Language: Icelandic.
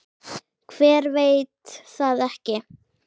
Hver veit það ekki?